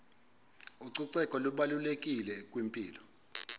ucoceko lubalulekile kwimpilo